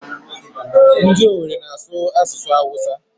Ndị Owere ana-asụ asụsụ Awụsa?